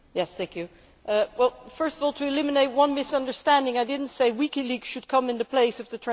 First of all, to eliminate one misunderstanding I did not say that WikiLeaks should stand in place of the transparency regulation